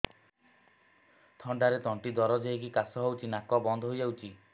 ଥଣ୍ଡାରେ ତଣ୍ଟି ଦରଜ ହେଇକି କାଶ ହଉଚି ନାକ ବନ୍ଦ ହୋଇଯାଉଛି